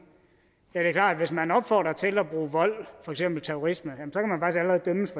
ja det er klart hvis man opfordrer til at bruge vold for eksempel terrorisme